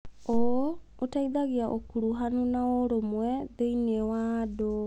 ũũ ũteithagia ũkuruhanu na ũrũmwe thĩinie wa andũ.